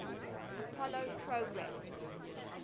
apollo program